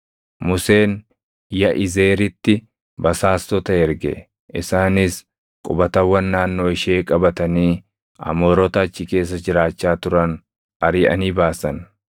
Museen Yaʼizeeritti basaastota erge; isaanis qubatawwan naannoo ishee qabatanii Amoorota achi keessa jiraachaa turan ariʼanii baasan.